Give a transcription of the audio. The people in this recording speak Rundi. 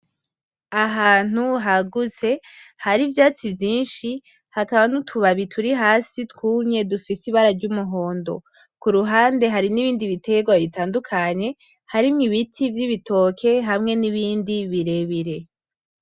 Ahantu hagutse hari ivyatsi vyinshi hakaba n'utubabi turi hasi twumye dufise ibara ry'umuhondo, kuruhande hari n'ibindi biterwa bitandukanye, harimwo ibiti vy'ibitoke hamwe n'ibindi birebire.